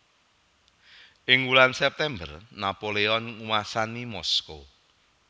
Ing wulan September Napoleon nguwasani Moskow